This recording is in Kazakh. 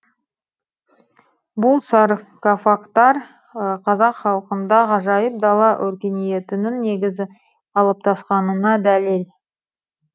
бұл саркофагтар қазақ халқында ғажайып дала өркениетінің негізі қалыптасқанына дәлел